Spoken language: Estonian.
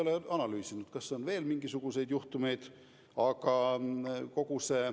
Ma ei ole analüüsinud, kas on veel mingisuguseid juhtumeid.